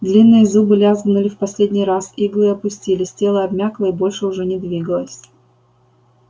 длинные зубы лязгнули в последний раз иглы опустились тело обмякло и больше уже не двигалось